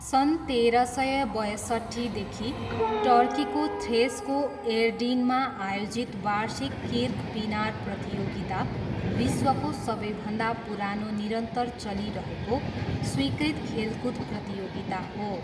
सन् तेह्र सय बयसट्ठीदेखि टर्कीको थ्रेसको एडिर्नमा आयोजित वार्षिक किर्कपिनार प्रतियोगिता विश्वको सबैभन्दा पुरानो निरन्तर चलिरहेको, स्वीकृत खेलकुद प्रतियोगिता हो।